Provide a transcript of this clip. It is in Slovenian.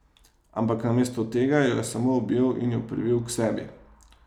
Ampak namesto tega jo je samo objel in jo privil k sebi.